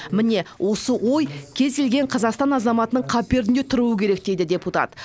міне осы ой кез келген қазақстан азаматының қаперінде тұруы керек дейді депутат